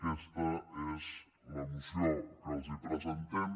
aquesta és la moció que els presentem